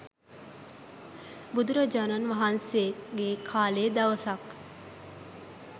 බුදුරජාණන් වහන්සේගේ කාලේ දවසක්